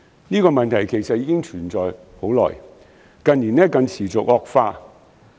這個問題其實存在已久，近年更持續惡化。